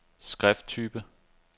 skrifttype